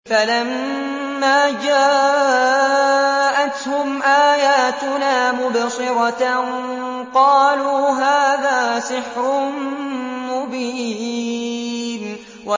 فَلَمَّا جَاءَتْهُمْ آيَاتُنَا مُبْصِرَةً قَالُوا هَٰذَا سِحْرٌ مُّبِينٌ